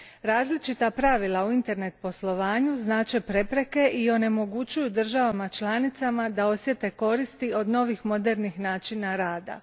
Različita pravila u internet poslovanju znače prepreke i onemogućuju državama članicama da osjete koristi od novih modernih načina rada.